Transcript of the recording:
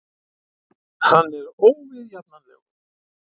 Hann er óviðjafnanlegur.